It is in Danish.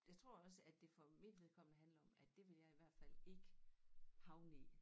Jeg tror også at det for mit vedkommende handler om at det vil jeg i hvert fald ik havne i